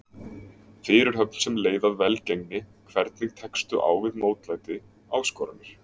Fyrirhöfn sem leið að velgengni Hvernig tekstu á við mótlæti, áskoranir?